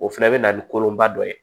O fɛnɛ bɛ na ni kolonba dɔ ye